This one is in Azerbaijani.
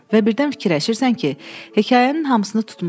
Və birdən fikirləşirsən ki, hekayənin hamısını tutmusan.